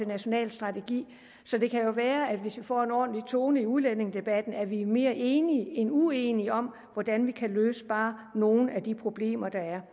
national strategi så det kan jo være at det hvis vi får en ordentlig tone i udlændingedebatten at vi er mere enige end uenige om hvordan vi kan løse bare nogle af de problemer der er